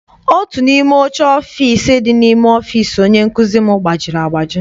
Otu n'ime oche ọfịịsi dị n'ime ọfịịsi onye nkụzi m gbajiri agbaji.